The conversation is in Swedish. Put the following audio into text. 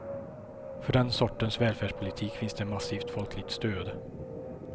För den sortens välfärdspolitik finns det massivt folkligt stöd.